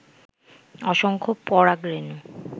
অসংখ্য পরাগ রেণু